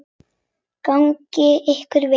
Gangi ykkur vel.